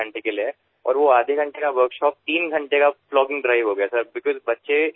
আৰু তেওঁলোকে আধা ঘণ্টাৰ কৰ্মশালা তিনি ঘণ্টাৰ প্লগিং অভিযানলৈ পৰিৱৰ্তিত কৰিলে